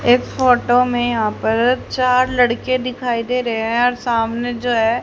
इस फोटो में यहां पर चार लड़के दिखाई दे रहे हैं सामने जो है--